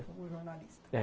Como jornalista, é.